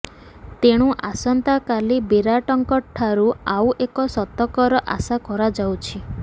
ତେଣୁ ଆସନ୍ତାକାଲି ବିରାଟଙ୍କଠାରୁ ଆଉ ଏକ ଶତକର ଆଶା କରାଯାଉଛି